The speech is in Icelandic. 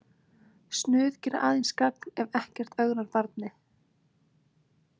Snuð gera aðeins gagn ef ekkert ögrar barni.